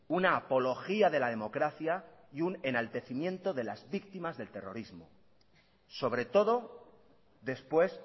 una apología de la democracia y un enaltecimiento de la víctimas del terrorismo sobre todo después